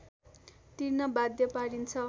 तिर्न बाध्य पारिन्छ